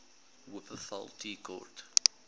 wupperthal tea court